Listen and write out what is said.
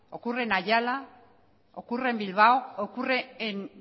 ocurren en ayala ocurren en bilbao ocurre en